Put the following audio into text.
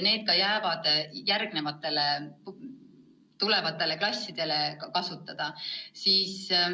Need jäävad ka järgmistele klassidele kasutada.